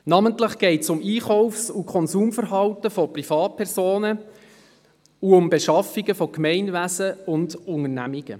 Namentlich geht es ums Einkaufs- und Konsumverhalten von Privatpersonen und um Beschaffungen von Gemeinwesen und Unternehmungen.